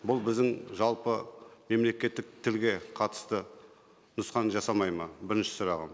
бұл біздің жалпы мемлекеттік тілге қатысты нұсқаны жасамайды ма бірінші сұрағым